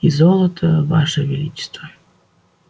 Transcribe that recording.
и золото ваше величество